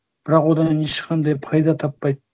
бірақ одан ешқандай пайда таппайды